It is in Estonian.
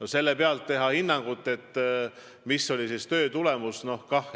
No selle alusel anda hinnang, mis on kellegi töö tulemus,